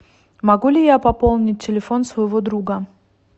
могу ли я пополнить телефон своего друга